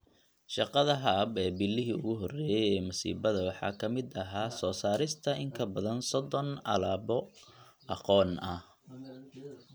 Shaqada Hub ee bilihii ugu horreeyay ee masiibada waxaa ka mid ahaa soo saarista in ka badan 30 alaabo aqoon ah